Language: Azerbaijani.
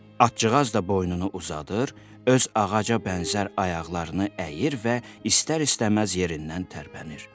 Atçığaz da boynunu uzadır, öz ağaca bənzər ayaqlarını əyir və istər-istəməz yerindən tərpənir.